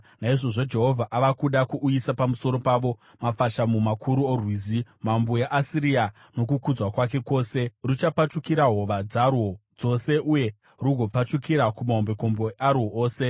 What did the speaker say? naizvozvo Jehovha ava kuda kuuyisa pamusoro pavo mafashamu makuru oRwizi, mambo weAsiria nokukudzwa kwake kwose. Ruchapfachukira hova dzarwo dzose, uye rugopfachukira kumahombekombe arwo ose,